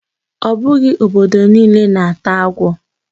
Ọ bụghị obodo niile na-ata agwo